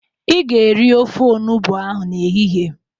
Ị ga-eri ofe olugbu ahụ n'ehihie.